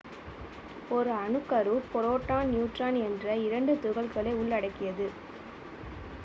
ஒரு அணுக்கரு proton neutron என்ற இரண்டு துகள்களை உள்ளடக்கியது